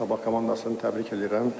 Sabah komandasını təbrik eləyirəm.